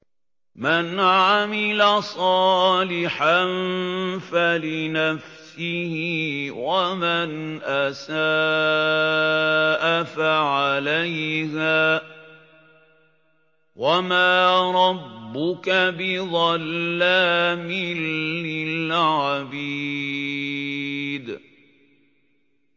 مَّنْ عَمِلَ صَالِحًا فَلِنَفْسِهِ ۖ وَمَنْ أَسَاءَ فَعَلَيْهَا ۗ وَمَا رَبُّكَ بِظَلَّامٍ لِّلْعَبِيدِ